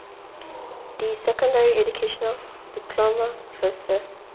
d secondary education diploma vista